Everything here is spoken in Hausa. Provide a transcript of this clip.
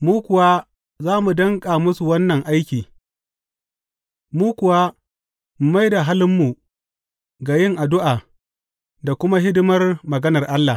Mu kuwa za mu danƙa musu wannan aiki mu kuwa mu mai da halinmu ga yin addu’a da kuma hidimar maganar Allah.